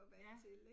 Ja